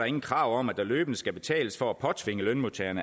ingen krav om at der løbende skal betales for at påtvinge lønmodtageren